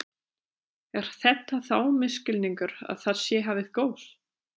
Er þetta þá misskilningur að það sé hafið gos?